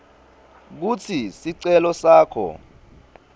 kutsi sicelo sakho